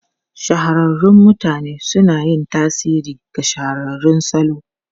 Shahararrun mutane suna yin tasiri ga shahararrun salo.